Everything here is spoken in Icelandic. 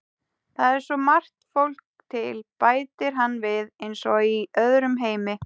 Það er svo margt fólk til, bætir hann við, eins og í öðrum heimi.